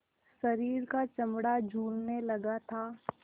शरीर का चमड़ा झूलने लगा था